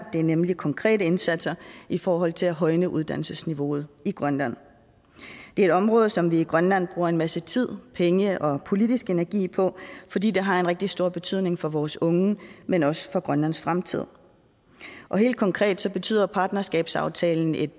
det er nemlig konkrete indsatser i forhold til at højne uddannelsesniveauet i grønland det er et område som vi i grønland bruger en masse tid penge og politisk energi på fordi det har en rigtig stor betydning for vores unge men også for grønlands fremtid og helt konkret betyder partnerskabsaftalen et